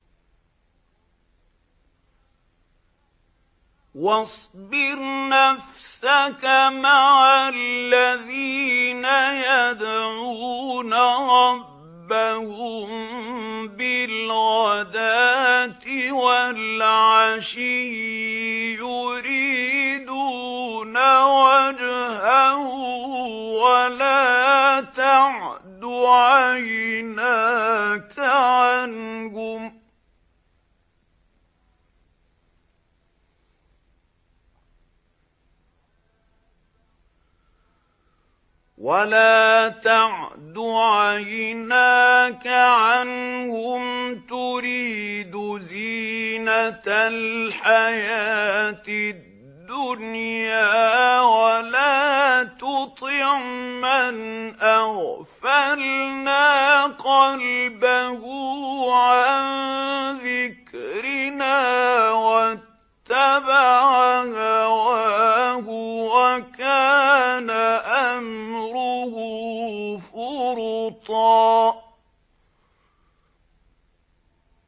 وَاصْبِرْ نَفْسَكَ مَعَ الَّذِينَ يَدْعُونَ رَبَّهُم بِالْغَدَاةِ وَالْعَشِيِّ يُرِيدُونَ وَجْهَهُ ۖ وَلَا تَعْدُ عَيْنَاكَ عَنْهُمْ تُرِيدُ زِينَةَ الْحَيَاةِ الدُّنْيَا ۖ وَلَا تُطِعْ مَنْ أَغْفَلْنَا قَلْبَهُ عَن ذِكْرِنَا وَاتَّبَعَ هَوَاهُ وَكَانَ أَمْرُهُ فُرُطًا